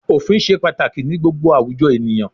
Òfin ṣe pàtàkì ní gbogbo àwùjọ ènìyàn.